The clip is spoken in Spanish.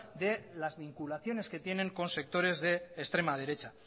de las vinculaciones que tienen con sectores de extrema derecha